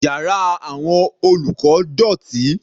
Yàrá àwọn olùkọ́ dọ̀tí.